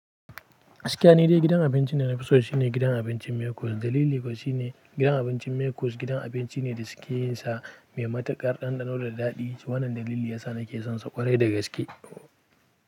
A gaskiya ni dai gidan abincin da na fi so shine gidan abincin Mekoni. Dalili kuwa shine gidan abincin Mekus gidan abinci ne da suke yin sa mai matuƙar ɗanɗano da daɗi. Wannan dalili ya sa nake son sa ƙwarai da gaske.